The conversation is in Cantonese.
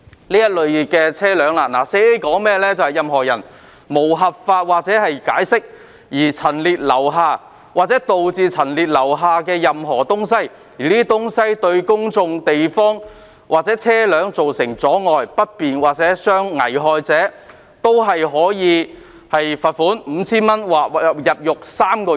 《簡易程序治罪條例》第 4A 條訂明："任何人無合法權限或解釋而陳列或留下，或導致陳列或留下任何物品或東西，而這些物品或東西對在公眾地方的人或車輛造成阻礙、不便或危害者......可處罰款 $5,000 或監禁3個月。